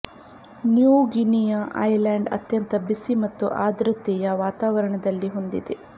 new Guinea island ಅತ್ಯಂತ ಬಿಸಿ ಮತ್ತು ಆರ್ದ್ರತೆಯ ವಾತಾವರಣದಲ್ಲಿ ಹೊಂದಿದೆ